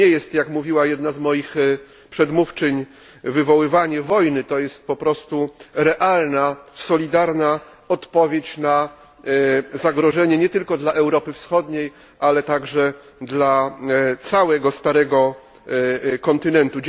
To nie jest jak mówiła jedna z moich przedmówczyń wywoływanie wojny, to jest po prostu realna, solidarna odpowiedź na zagrożenie nie tylko dla Europy Wschodniej, ale także dla całego Starego Kontynentu.